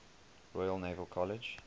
royal naval college